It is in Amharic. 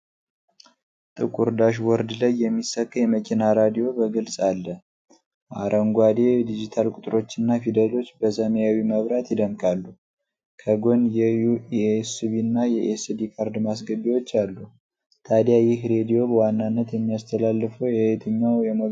ጥቁር ዳሽቦርድ ላይ የሚሰካ የመኪና ሬዲዮ በግልጽ አለ። አረንጓዴ ዲጂታል ቁጥሮችና ፊደሎች በሰማያዊ መብራት ይደምቃሉ፤ ከጎን የዩኤስቢና የኤስዲ ካርድ ማስገቢያዎች አሉ። ታዲያ ይህ ሬዲዮ በዋናነት የሚያስተላልፈው የየትኛው የሞገድ ዓይነት ነው?